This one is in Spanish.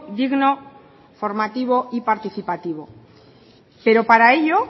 digno formativo y participativo pero para ello